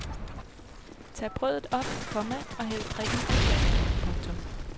Tag brødet op, komma og hæld drikken på flasker. punktum